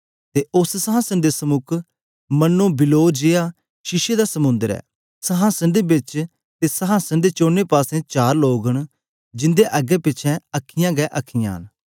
ते उस्स संहासन दे समुक मनो बिल्लोर जेया शीशे दा समुंद्र ऐ संहासन दे बिच ते संहासन दे चोने पासें चार लोग न जिंदे अग्गेंपिछें अखीयाँ गै अखीयाँ न